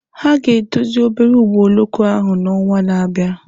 A ga-edozi obere ụgbọ oloko ahụ n'ọnwa na-abịa.